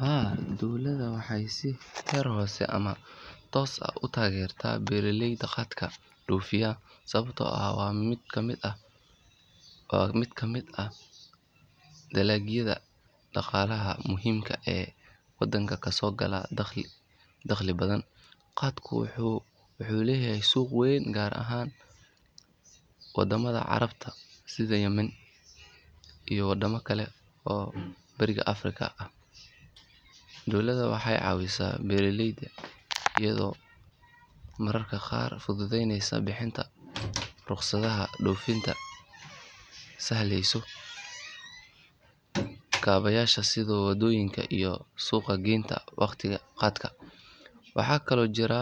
Haa dowladda waxay si heer hoose ama toos ah u taageertaa beeraleyda khaatka dhoofiya sababtoo ah waa mid ka mid ah dalagyada dhaqaalaha muhiimka ah ee wadanka ka soo gala dakhli badan. Khaatku wuxuu leeyahay suuq weyn gaar ahaan waddamada Carabta sida Yemen iyo waddamo kale oo Bariga Afrika ah. Dowladda waxay caawisaa beeraleyda iyada oo mararka qaar fududeysa bixinta rukhsadaha dhoofinta, sahleyso kaabayaasha sida wadooyinka iyo suuq geynta khaatka. Waxaa kaloo jira